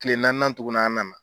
Tile naanian tugun an nana